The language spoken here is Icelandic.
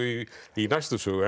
í næstu sögu